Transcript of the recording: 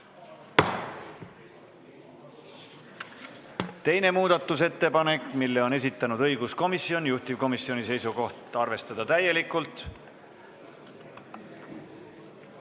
Teine muudatusettepanek, mille on esitanud õiguskomisjon, juhtivkomisjoni seisukoht: arvestada täielikult.